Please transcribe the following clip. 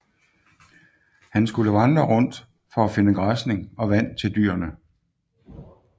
Han skulle vandre rundt for at finde græsning og vand til dyrene